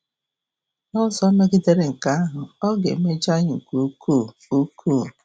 N'ụzọ megidere nke ahụ, ọ ga-emejọ anyị nke ukwuu. ukwuu.